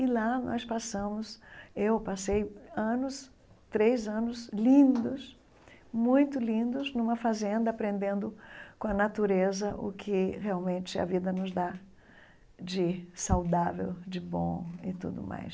E lá nós passamos, eu passei anos, três anos, lindos, muito lindos, numa fazenda, aprendendo com a natureza o que realmente a vida nos dá de saudável, de bom e tudo mais.